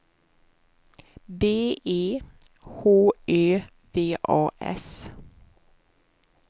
B E H Ö V A S